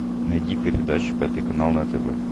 найди передачу пятый канал на тв